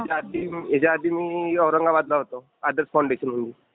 याच्याआधी... याच्याआधी मी औरंगाबादला होतो. आदर्श फाऊंडेशनमध्ये.